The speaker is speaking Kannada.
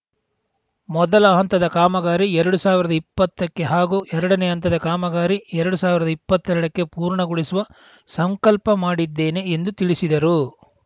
ಮೊದಲ ಹಂತದ ಕಾಮಗಾರಿ ಎರಡು ಸಾವಿರದ ಇಪ್ಪತ್ತಕ್ಕೆ ಹಾಗೂ ಎರಡನೇ ಹಂತದ ಕಾಮಗಾರಿ ಎರಡು ಸಾವಿರದ ಇಪ್ಪತ್ತೆರಡಕ್ಕೆ ಪೂರ್ಣಗೊಳಿಸುವ ಸಂಕಲ್ಪ ಮಾಡಿದ್ದೇನೆ ಎಂದು ತಿಳಿಸಿದರು